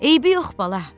"Eybi yox, bala."